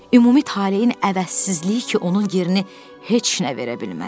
Ümumi taleyin əvəzsizliyi ki, onun yerini heç nə verə bilməz.